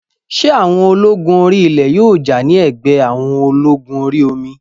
Ṣé àwọn ológun orí ilẹ̀ yóò jà ní ẹ̀gbẹ́ àwọn ológun orí omi?